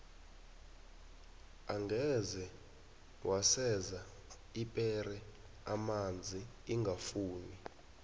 angeze waseza ipera amanzi ingafuni